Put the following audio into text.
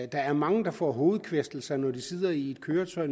der er mange der får hovedkvæstelser når de sidder i et køretøj